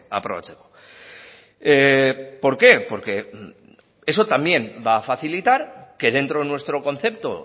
aprobatzeko por qué porque eso también va a facilitar que dentro de nuestro concepto